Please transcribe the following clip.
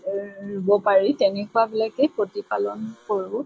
ৰ ৰোব পাৰি তেনেকুৱা বিলাকে প্ৰতি পালন কৰোঁ।